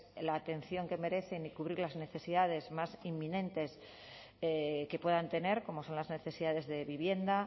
la atención que merecen y cubrir las necesidades más inminentes que puedan tener como son las necesidades de vivienda